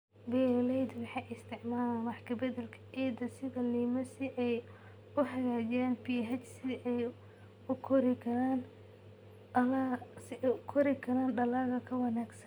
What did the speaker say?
Beeraleydu waxay isticmaalaan wax ka beddelka ciidda sida lime si ay u hagaajiyaan pH si ay u koraan dalagga ka wanaagsan.